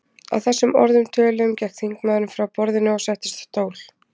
Að þessum orðum töluðum gekk þingmaðurinn frá borðinu og settist á stól.